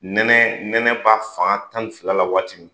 Nɛnɛ nɛnɛ b'a fanga tan ni fila la waati min